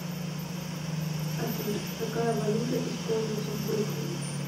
афина какая валюта используется в бруклине